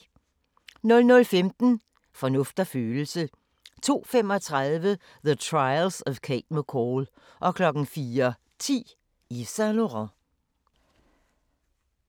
00:15: Fornuft og følelse 02:35: The Trials of Cate McCall 04:10: Yves Saint Laurent